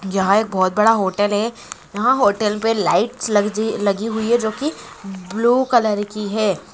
यहा एक बहुत बड़ा होटल हे यहा होटेल पे लाइटस ल्ग्जी लगी हुई हे जो की ब्लू कलर की है